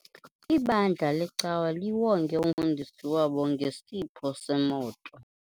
Ibandla lecawa liwonge umfundisi wabo ngesipho semoto.